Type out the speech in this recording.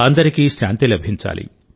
అందరికీ శాంతి లభించాలి